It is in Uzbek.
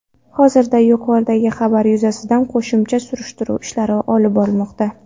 Hozirda yuqoridagi xabar yuzasidan qo‘shimcha surishtiruv ishlari olib borilmoqda.